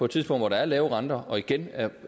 tidspunkt hvor der er lav rente og igen er